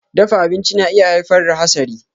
Dafa abinci na iya haifar da hasari.